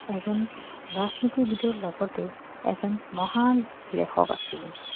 এজন ৰাজনীতিবিদৰ লগতে এজন মহান লেখক আছিল